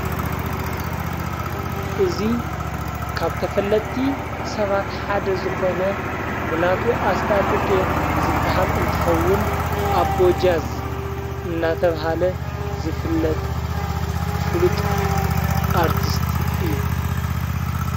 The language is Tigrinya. እዙይ ካብ ተፈለቲ ሰባት ሓደ ዝኾነ ሙላቱ ኣስታጢ ቄ ዝበሃል እንትኸውን ኣቦጃዝ እናተብሃለ ዝፍለጥ ፍሉጥ ኣርቲስት እዩ።